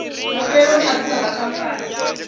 mafheloni a dzina ḽa khamphani